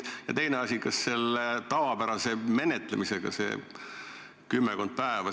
Ja teine asi, menetlemisaeg on tavapärased kümmekond päeva.